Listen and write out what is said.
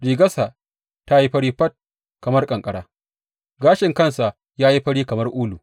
Rigarsa ta yi fari fat kamar ƙanƙara; gashin kansa sun yi fari kamar ulu.